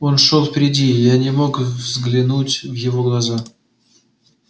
он шёл впереди и я не мог взглянуть в его глаза